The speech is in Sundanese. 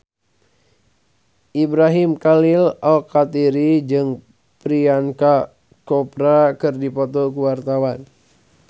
Ibrahim Khalil Alkatiri jeung Priyanka Chopra keur dipoto ku wartawan